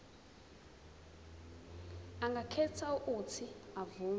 angakhetha uuthi avume